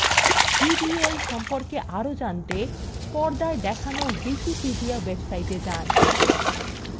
ddl সম্পর্কে আরো জানতে পর্দায় দেখানো wikipedia website যান